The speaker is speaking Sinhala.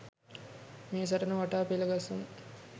මේ සටන වටා පෙළ ගස්වමු